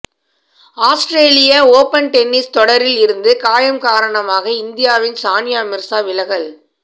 ஆஸ்திரேலிய open tennis தொடரில் இருந்து காயம் காரணமாக இந்தியாவின் சானியா மிர்சா விலகல்